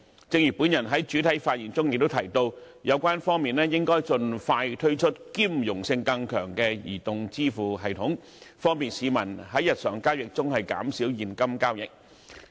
正如我在開首發言中也提到，有關方面應盡快推出兼容性更強的移動支付系統，方便市民在日常交易中減少現金交易。